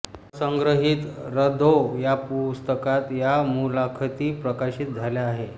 असंग्रहित रधों या पुस्तकात या मुलाखती प्रकाशित झाल्या आहे